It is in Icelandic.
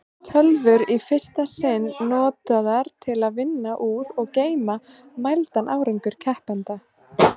Tölvur í fyrsta sinn notaðar til að vinna úr og geyma mældan árangur keppenda.